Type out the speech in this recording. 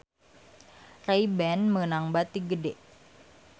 Ray Ban meunang bati gede